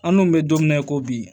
An dun bɛ don min na i ko bi